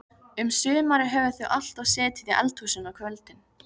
Um sumarið höfðu þau alltaf setið í eldhúsinu á kvöldin.